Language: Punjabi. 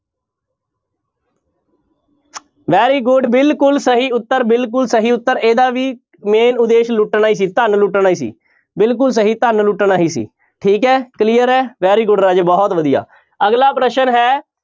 Very good ਬਿਲਕੁਲ ਸਹੀ ਉੱਤਰ ਬਿਲਕੁਲ ਸਹੀ ਉੱਤਰ ਇਹਦਾ ਵੀ main ਉਦੇਸ਼ ਲੁਟਣਾ ਹੀ ਸੀ ਧਨ ਲੁਟਣਾ ਹੀ ਸੀ, ਬਿਲਕੁਲ ਸਹੀ ਧਨ ਲੁਟਣਾ ਹੀ ਸੀ ਠੀਕ ਹੈ clear ਹੈ very good ਰਾਜੇ ਬਹੁਤ ਵਧੀਆ ਅਗਲਾ ਪ੍ਰਸ਼ਨ ਹੈ,